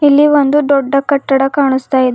ಇಲ್ಲಿ ಒಂದು ದೊಡ್ಡ ಕಟ್ಟಡ ಕಾಣಸ್ತಾ ಇದೆ.